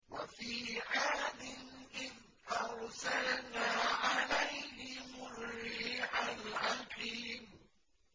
وَفِي عَادٍ إِذْ أَرْسَلْنَا عَلَيْهِمُ الرِّيحَ الْعَقِيمَ